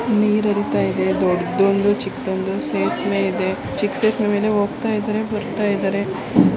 ನೀರು ಹರೀತೈದೆ ದೊಡ್ಡದೊಂದು ಚಿಕ್ಕದೊಂದು ಸೇತುವೆ ಇದೆ ಚಿಲಿಕಸೇತುವೆ ಮೇಲೆ ಹೋಗ್ತಾಯಿದ್ದರೆ ಬರ್ತಯಿದಾರೆ.